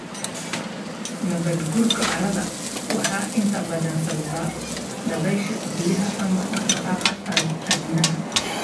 Nabaadguurka carrada waxaa inta badan sababa dabaysha, biyaha, ama dhaqdhaqaaqa aadanaha.